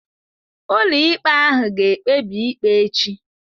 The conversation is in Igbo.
Ụlọikpe ahụ ga-ekpebi ikpe echi.